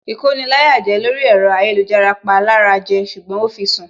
Ìkoni-láyàjẹ lórí ẹ̀rọ ayélujára pa lára jẹ ṣùgbọ́n ó fi sùn